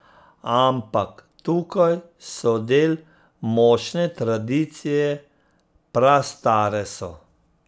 Ampak tukaj so del močne tradicije, prastare so.